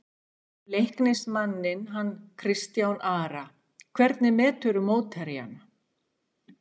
Leiknismanninn hann Kristján Ara Hvernig meturðu mótherjana?